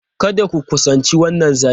Kada ku kusanci wannan zaki!